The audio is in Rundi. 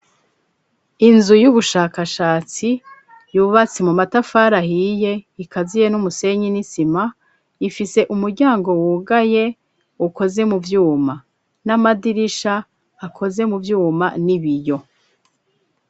Inzu y'ubushakashatsi yububatsi mu matafari ahiye ikaziye n'umusenyi n'isima ifise umuryango wugaye ukoze mu byuma n'amadirisha akoze mu byuma n'ibiyo.